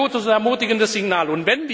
Das wäre ein gutes und ermutigendes Signal.